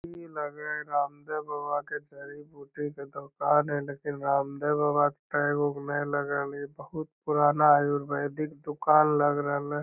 ई लग हई रामदेव बाबा के जड़ीबूटी के दुकान हई लेकिन रामदेव बाबा के टैग उग नै लगल हइ | बहुत पुराना आयुर्वेदिक दुकान लग रहलै |